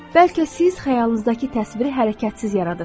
Bəlkə siz xəyalınızdakı təsviri hərəkətsiz yaradırsız.